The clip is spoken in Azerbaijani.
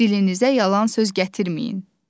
Dilinizə yalan söz gətirməyin.